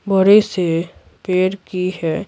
बड़े से पेड़ की है।